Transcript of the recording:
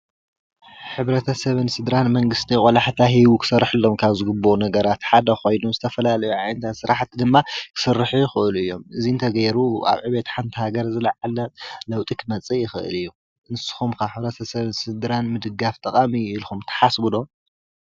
ሕብረተሰብን ስደራን መንግስቲ ቆላሕታ ሂቡ ክሰርሐሎም ካብ ዝግባእ ፅቡቅ ነገራት ሓደ ኮይኑ ካብ ዝተፈላለዩ ስራሕቲ ድማ ክስርሑ ይክእሉ እዮም፡፡ እዚ ንእተገይሩ ኣብ ዕብየት ሓንቲ ሃገር ዝላዓለ ለውጢ ክመፅእ ይክእል እዩ፡፡ ንስኩም ከ ሕብረተሰብን ስድራን ምድጋፍ ጠቃሚ እዩ ኢልኩም ትሓስቡ ዶ?